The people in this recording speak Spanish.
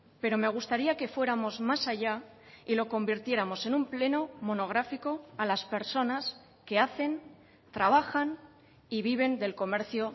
pero me gustaría que fuéramos más allá y lo convirtiéramos en un pleno monográfico a las personas que hacen trabajan y viven del comercio